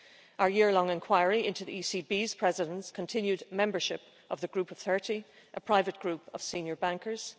our year long inquiry into the ECB President's continued membership of the Group of 30, a private group of senior bankers